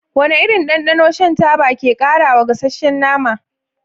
Wane irin dandano shan taba ke ƙarawa gasasshen nama?